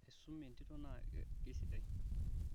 asum entito naa kasidai